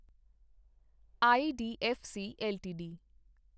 IDFC LTD